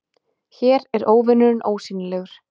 Hér er óvinurinn ósýnilegur